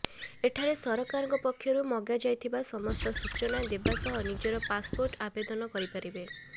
ଏଠାରେ ସରକାରଙ୍କ ପକ୍ଷରୁ ମଗାଯାଇଥିବା ସମସ୍ତ ସୂଚନା ଦେବା ସହ ନିଜର ପାସପୋର୍ଟ ଆବେଦନ କରିପାରିବେ